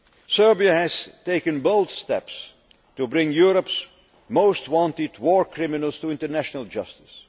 Union. Serbia has taken bold steps to bring Europe's most wanted war criminals to international justice.